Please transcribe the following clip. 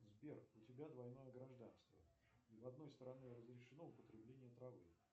сбер у тебя двойное гражданство и в одной стране разрешено употребление травы